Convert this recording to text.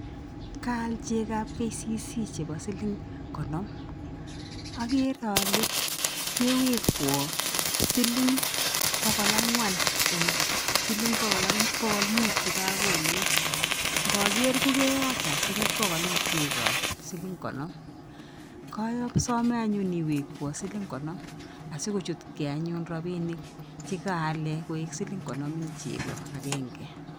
Kaal chekoab KCC chebo siling konom akere ale kewekwa siling pokol angwan eng siling pokol muut chekakonin ngaker kokeyacha siling pokol eng chekoab siling konom kasame anyun iwekwa siling konom asikochutkei anyun robinik chekaale koek siling konom ing chek akgnge.